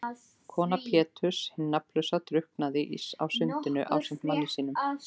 Kona Péturs hin nafnlausa drukknaði á sundinu ásamt manni sínum.